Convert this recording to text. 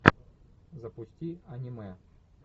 запусти аниме